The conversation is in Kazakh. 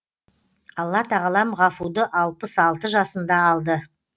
алла тағалам ғафуды алпыс алты жасында алды